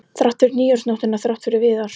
Þrátt fyrir nýársnóttina, þrátt fyrir Viðar.